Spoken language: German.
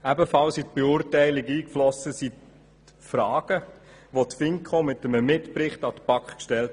Ebenfalls in die Beurteilung eingeflossen sind die Fragen, welche die FiKo in einem Mitbericht an die BaK stellte.